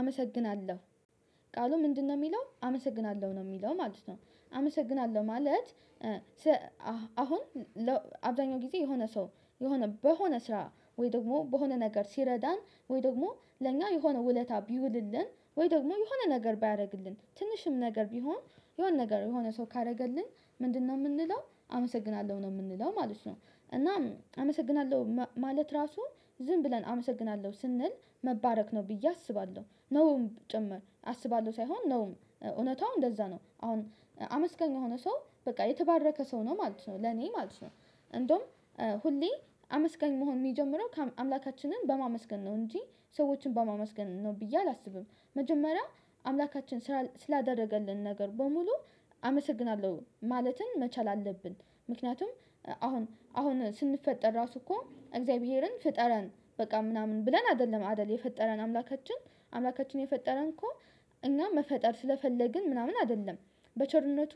አመሰግናለሁ ቃሉ ምንድነው የሚለው አመሰግናለሁ ነው የሚለው ማለት ነው። አመሰግናለሁ ማለት። አሁን አብዛኛው ጊዜ የሆነ ሰው የሆነ በሆነ ስራ ወይ ደግሞ በሆነ ነገር ሲረዳን ወይ ደግሞ ለኛ የሆነ ውለታ ቢውልልን ወይ ደግሞ የሆነ ነገር ባያደርግልን ትንሽም ነገር ቢሆን የሆነ ነገር የሆነ ሰው ካደረገልን ምንድነው የምንለው አመሰግናለሁ ነው የምንለው ማለት ነው። እናም አመሰግናለሁ ማለት ራሱ ዝም ብለን አመሰግናለሁ ስንል መባረክ ነው ብዬ አስባለሁ ነውም ጭምር አስባለሁ ሳይሆን ነው እውነታውም እንደዛ ነው። አሁን አመስጋኝ የሆነ ሰው በቃ የተባረከ ሰው ነው ማለት ነው ለኔ ማለት ነው። እንደውም ሁሌ አመስጋኝ መሆን የሚጀምረው አምላካችንን በማመስገን ነው እንጂ ሰዎችን በማመስገን ነው ብዬ አላስብም። መጀመሪያ አምላካችን ስላደረገልን ነገር በሙሉ አመሰግናለሁ ማለትን መቻል አለብን። ምክንያቱም አሁን አሁን ስንፈጠር ራሱ እኮ እግዚአብሔርን ፈጠረን በቃ ምናምን ብለን አይደለም አይደለም የፈጠረን አምላካችን አምላካችን የፈጠረን እኮ እኛ መፈጠር ስለፈለግን ምናምን አይደለም በቸርነቱ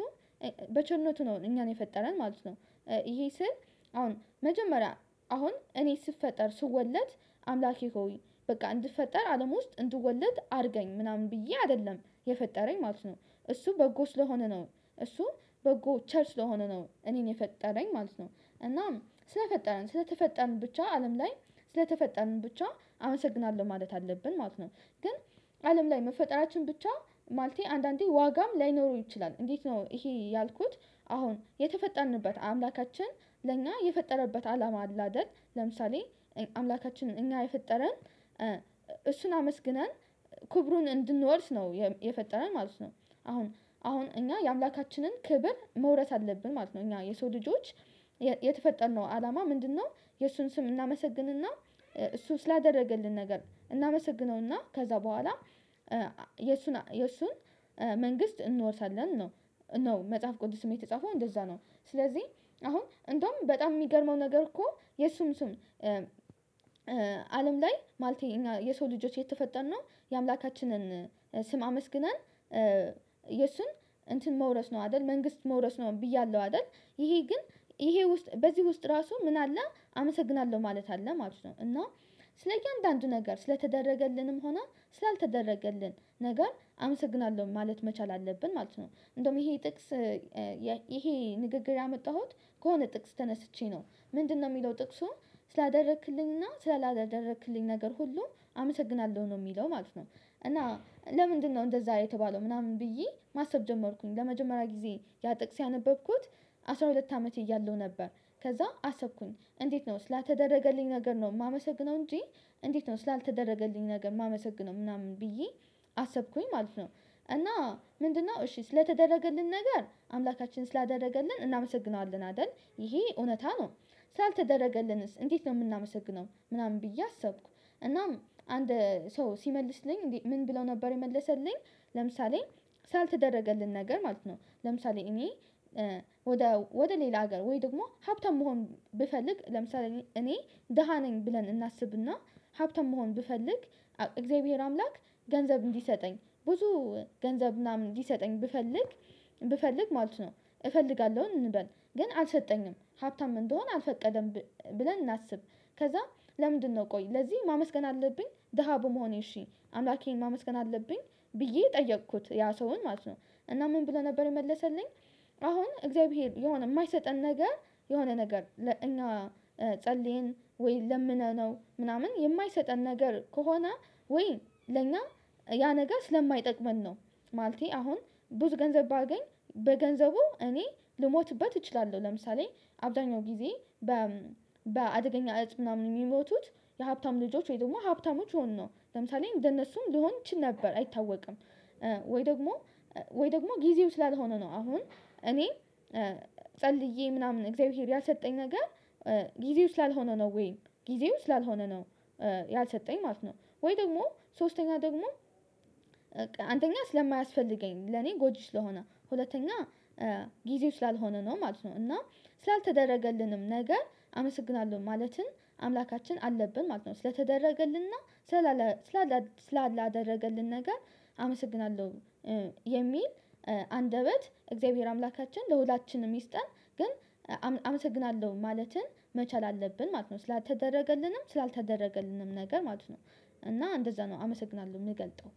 በቸርነቱ ነው እኛን የፈጠረን ማለት ነው። ይሄ ስል አሁን መጀመሪያ አሁን እኔ ስፈጠር ስወለድ አምላኬ ሆይ በቃ እንድፈጠር አለም ውስጥ እንድወለድ አድርገኝ ምናምን ብዬ አይደለም። የፈጠረኝ ማለት ነው እሱ በጎ ስለሆነ ነው እሱ በጎ ቸር ስለሆነ ነው እኔን የፈጠረኝ ማለት ነው። እናም ስለፈጠረን ስለተፈጠርን ብቻ አለም ላይ ስለተፈጠርን ብቻ አመሰግናለሁ ማለት አለብን ማለት ነው። ግን አለም ላይ መፈጠራችን ብቻ ማልቴ አንዳንዴ ዋጋም ላይኖረው ይችላል እንዴት ነው ይሄ ያልኩት? አሁን የተፈጠንበት አምላካችን ለእኛ የፈጠረበት አላማ አለ አይደል ለምሳሌ አምላካችንን እኛ የፈጠረን እሱን አመስግነን ክብሩን እንድንወርስ ነው የፈጠረን ማለት ነው። አሁን አሁን እኛ የአምላካችንን ክብር መውረስ አለብን ማለት ነው። እኛ የሰው ልጆች የተፈጠርነው አላማ ምንድነው? የእሱን ስም እናመሰግንና እሱ ስላደረገልን ነገር እናመሰግነውና ከዛ በኋላ የእሱን የእሱን መንግስት እንወርሳለን ነው። ነው መጽሐፍ ቅዱስ የተጻፈው እንደዛ ነው። ስለዚህ አሁን እንደውም በጣም የሚገርመው ነገር እኮ የእሱም እሱም አለም ላይ ማለት የሰው ልጆች የተፈጠነ ነው። የአምላካችንን ስም አመስግነን የሱን እንትን መውደስ ነው አይደል መንግስት መውደስ ነው ብያለሁ አይደል? ይሄ ግን ይሄ ውስጥ በዚህ ውስጥ ራሱ ምን አለ አመሰግናለሁ ማለት አለ ማለት ነው። እና ስለዚህ አንዳንድ ነገር ስለተደረገልንም ሆና ስላልተደረገልን ነገር አመሰግናለሁ ማለት መቻል አለብን ማለት ነው። እንደውም ይሄ ጥቅስ ይሄ ንግግር ያመጣሁት ከሆነ ጥቅስ ተነስቼ ነው። ምንድነው የሚለው ጥቅሱ ስላደረክልኝና ስላላደረክልኝ ነገር ሁሉ አመሰግናለሁ ነው የሚለው ማለት ነው። እና ለምንድነው እንደዛ የተባለው ምናምን ብዬ ማሰብ ጀመርኩኝ ለመጀመሪያ ጊዜ ያ ጥቅስ ያነበብኩት። አስራ ሁለት አመት እያለሁ ነበር። ከዛ አሰብኩኝ እንዴት ነው ስላተደረገልኝ ነገር ነው የማመሰግነው እንጂ። እንዴት ነው ስላልተደረገልኝ ነገር የማመሰግነው ምናምን ብዬ አሰብኩኝ ማለት ነው። እና ምንድነው እሺ ስለተደረገልን ነገር አምላካችን ስላደረገልን እናመሰግነዋለን አይደል? ይሄ እውነት ነው። ስላልተደረገልንስ እንዴት ነው የምናመሰግነው ምናምን ብዬ አሰብኩ። እና አንድ ሰው ሲመልስልኝ እንዴ ምን ብለው ነበር የመለሰልኝ? ለምሳሌ ሳልተደረገልን ነገር ማለት ነው ለምሳሌ እኔ ወደ ወደ ሌላ ሀገር ወይ ደግሞ ሀብታም መሆን ብፈልግ ለምሳሌ እኔ ደሃ ነኝ ብለን እናስብና። ሀብታም መሆን ብፈልግ እግዚአብሔር አምላክ ገንዘብ እንዲሰጠኝ ብዙ ገንዘብ ምናምን ሊሰጠኝ ብፈልግ ብፈልግ ማለት ነው። እፈልጋለሁኝ እንበል ግን አልፈጠኝም ሀብታም እንደሆን አልፈቀደም ብለን እናስብ። ከዛ ለምንድነው ቆይ ለዚህ ማመስገን አለብኝ ደሃ በመሆኔ እሺ አምላኬን ማመስገን አለብኝ ብዬ ጠየኩት ያ ሰውን ማለት ነው። እና ምን ብለህ ነበር የመለሰልኝ? አሁን እግዚአብሔር የማይሰጠን ነገር የሆነ ነገር ለእኛ ጸልየን ወይ ለምነነው ምናምን የማይሰጠን ነገር ከሆነ ወይ ለኛ ያ ነገ ስለማይጠቅመን ነው። ማለቴ አሁን ብዙ ገንዘብ ባገኝ በገንዘቡ እኔ ልሞትበት እችላለሁ። ለምሳሌ አብዳኛው ጊዜ በአደገኛ እፅ ምናምን የሚሞቱት የሀብታም ልጆች ወይም ደግሞ ሀብታሞች ሆን ነው ለምሳሌ እንደነሱም ልሆን ችል ነበር አይታወቅም። ወይ ደግሞ ወይ ደግሞ ጊዜው ይችላል ሆኖ ነው አሁን እኔ ጸልዬ ምናምን እግዚአብሔር ያሰጠኝ ነገር ጊዜው ስላልሆነ ነው ወይ ጊዜው ስላልሆነ ነው። ያልሰጠኝ ማለት ነው ወይ ደግሞ ሶስተኛ ደግሞ አንተኛ ስለማያስፈልገኝ ለኔ ጎጂ ስለሆነ ሁለተኛ ጊዜው ስላልሆነ ነው ማለት ነው። እና ስላልተደረገልንም ነገር አመሰግናለሁ ማለትን አምላካችን አለብን ማለት ነው። ስለተደረገልንና ስላላ ስላላ ስላላ አደረገልን ነገር አመሰግናለሁ የሚል አንደበት እግዚአብሔር አምላካችን ለሁላችንም ይስጠን። ግን አመሰግናለሁ ማለትን መቻል አለብን ማለት ነው። ስላልተደረገልንም ስላልተደረገልንም ነገር ማለት ነው። እና እንደዛ ነው አመሰግናለሁ የሚገልጠው